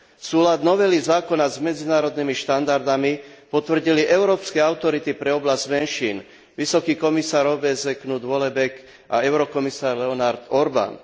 Súlad novely zákona s medzinárodnými štandardmi potvrdili európske autority pre oblasť menšín Vysoký komisár OBSE Knut Vollebæk a eurokomisár Leonard Orban.